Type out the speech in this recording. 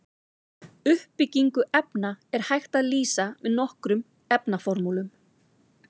Uppbyggingu efna er hægt að lýsa með nokkrum efnaformúlum.